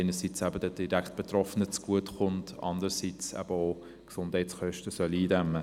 Das kommt einerseits den Direktbetroffenen zu gut, andererseits soll es auch die Gesundheitskosten eindämmen.